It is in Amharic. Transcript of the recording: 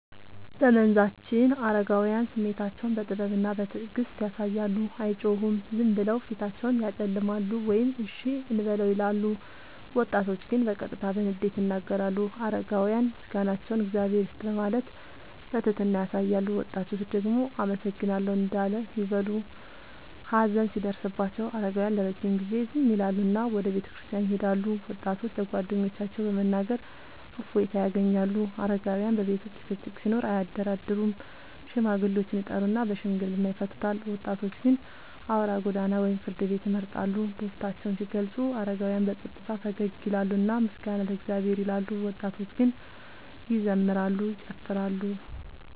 በመንዛችን አረጋውያን ስሜታቸውን በጥበብና በትዕግስት ያሳያሉ፤ አይጮሁም፤ ዝም ብለው ፊታቸውን ያጨለማሉ ወይም “እሺ እንበለው” ይላሉ። ወጣቶች ግን በቀጥታ በንዴት ይናገራሉ። አረጋውያን ምስጋናቸውን “እግዚአብሔር ይስጥህ” በማለት በትህትና ያሳያሉ፤ ወጣቶች ደግሞ “አመሰግናለሁ” እንዳል ይበሉ። ሀዘን ሲደርስባቸው አረጋውያን ለረጅም ጊዜ ዝም ይላሉና ወደ ቤተክርስቲያን ይሄዳሉ፤ ወጣቶች ለጓደኞቻቸው በመናገር እፎይታ ያገኛሉ። አረጋውያን በቤተሰብ ውስጥ ጭቅጭቅ ሲኖር አያደራደሩም፤ ሽማግሌዎችን ይጠሩና በሽምግልና ይፈቱታል። ወጣቶች ግን አውራ ጎዳና ወይም ፍርድ ቤት ይመርጣሉ። ደስታቸውን ሲገልጹ አረጋውያን በጸጥታ ፈገግ ይላሉና “ምስጋና ለእግዚአብሔር” ይላሉ፤ ወጣቶች ግን ይዘምራሉ፤ ይጨፍራሉ።